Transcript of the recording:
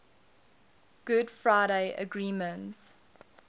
good friday agreement